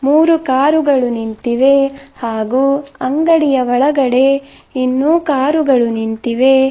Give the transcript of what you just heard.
ಮೂರು ಕಾರುಗಳು ನಿಂತಿವೆ ಹಾಗೂ ಅಂಗಡಿಯ ಒಳಗಡೆ ಇನ್ನೂ ಕಾರುಗಳು ನಿಂತಿವೆ.